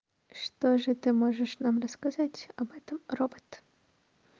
что же ты можешь нам рассказать об этом робот